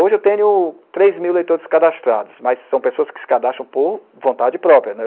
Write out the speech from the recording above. Hoje eu tenho três mil leitores cadastrados, mas são pessoas que se cadastram por vontade própria.